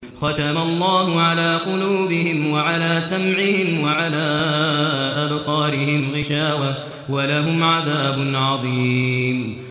خَتَمَ اللَّهُ عَلَىٰ قُلُوبِهِمْ وَعَلَىٰ سَمْعِهِمْ ۖ وَعَلَىٰ أَبْصَارِهِمْ غِشَاوَةٌ ۖ وَلَهُمْ عَذَابٌ عَظِيمٌ